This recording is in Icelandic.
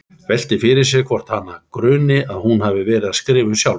Veltir fyrir sér hvort hana gruni að hún hafi verið að skrifa um sjálfa sig.